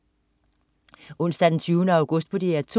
Onsdag den 20. august - DR 2: